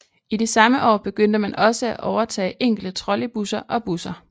I de samme år begyndte man også at overtage enkelte trolleybusser og busser